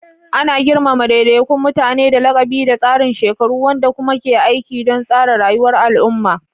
Ana girmama daidaikun mutane da lakabi da tsarin shekaru, wanda kuma ke aiki don tsara rayuwar al'umma.